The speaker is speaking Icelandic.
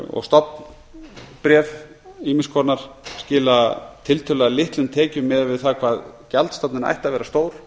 og stofnbréf ýmiss konar skila tiltölulega litlum tekjum miðað við það hvað gjaldstofninn ætti að vera stór